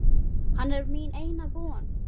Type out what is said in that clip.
Hann er mín eina von.